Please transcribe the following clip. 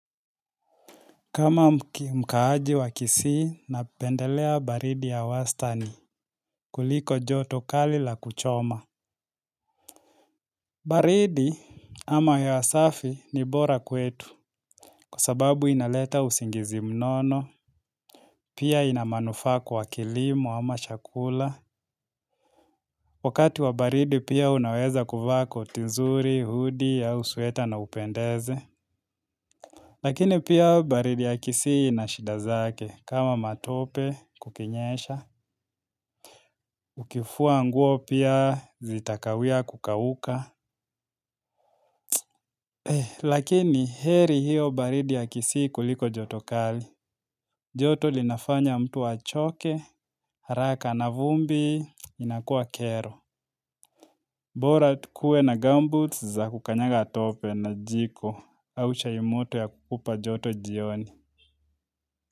Kama mkaaji wa kisii na pendelea baridi ya wastani kuliko joto kali la kuchoma. Baridi ama hewa safi ni bora kwetu kwasababu inaleta usingizi mnono, pia ina manufaa kwa kilimo ama chakula. Wakati wa baridi pia unaweza kuvaa koti nzuri, hudi au sweta na upendeze. Lakini pia baridi ya kisii ina shida zake kama matope kukinyesha, ukifua nguo pia zitakawia kukauka. Lakini heri hiyo baridi ya kisii kuliko joto kali. Joto linafanya mtu achoke, haraka na vumbi, inakuwa kero. Bora tukue na gambut za kukanyaga tope na jiko au chai moto ya kukupa joto jioni.